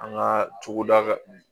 An ka cogoda kan